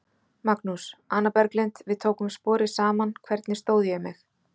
Magnús: Anna Berglind, við tókum sporið saman, hvernig stóð ég mig?